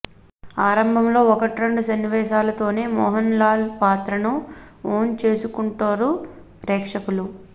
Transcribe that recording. ఆరంభంలో ఒకట్రెండు సన్నివేశాలతోనే మోహన్ లాల్ పాత్రను ఓన్ చేసేసుకుంటారు ప్రేక్షకులు